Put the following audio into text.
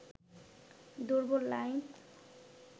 দুর্বল লাইন